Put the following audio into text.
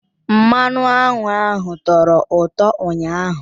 Mmanụ aṅụ ahụ tọrọ ụtọ ụnyaahụ.